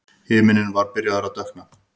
Himinninn var byrjaður að dökkna.